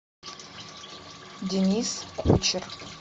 денис кучер